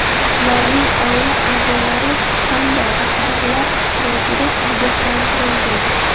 ularning oila a’zolari hamda rahbarlar ishtirokida ogohlantirilgan.